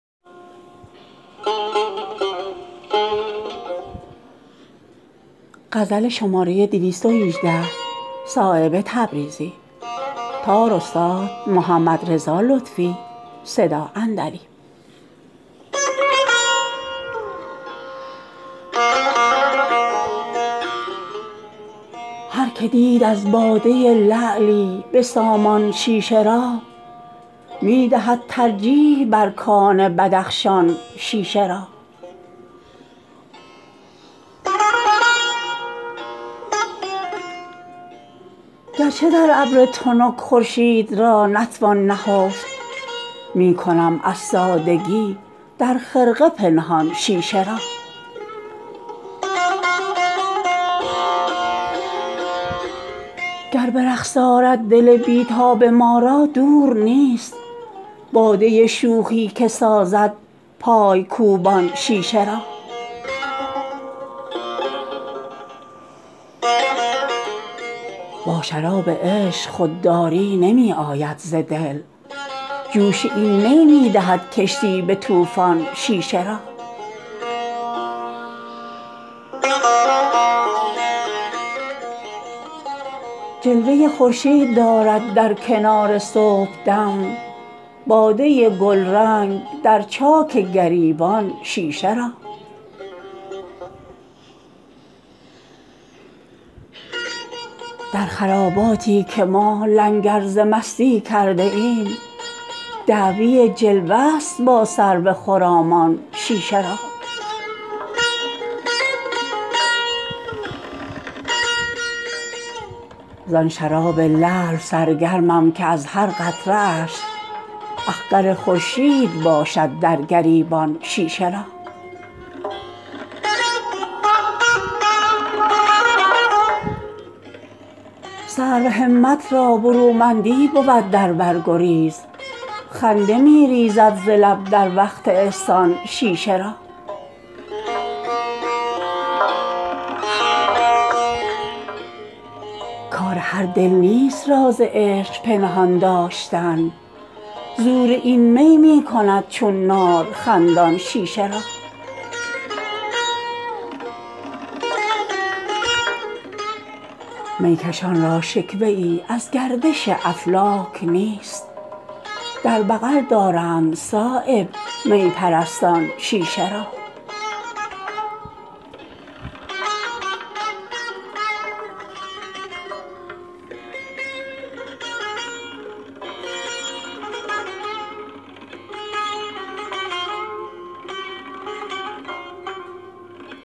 هر که دید از باده لعلی به سامان شیشه را می دهد ترجیح بر کان بدخشان شیشه را گرچه در ابر تنک خورشید را نتوان نهفت می کنم از سادگی در خرقه پنهان شیشه را گر به رقص آرد دل بی تاب ما را دور نیست باده شوخی که سازد پایکوبان شیشه را با شراب عشق خودداری نمی آید ز دل جوش این می می دهد کشتی به طوفان شیشه را جلوه خورشید دارد در کنار صبحدم باده گلرنگ در چاک گریبان شیشه را در خراباتی که ما لنگر ز مستی کرده ایم دعوی جلوه است با سرو خرامان شیشه را زان شراب لعل سرگرمم که از هر قطره اش اخگر خورشید باشد در گریبان شیشه را سرو همت را برومندی بود در بر گریز خنده می ریزد ز لب در وقت احسان شیشه را کار هر دل نیست راز عشق پنهان داشتن زور این می می کند چون نار خندان شیشه را می کشان را شکوه ای از گردش افلاک نیست در بغل دارند صایب می پرستان شیشه را